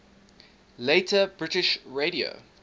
later british radio